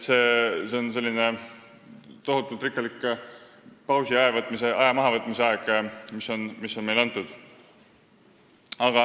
See on tohutult rikkalik pausi ja aja mahavõtmise aeg, mis on meile antud.